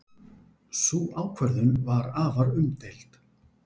Sú ákvörðun var afar umdeild.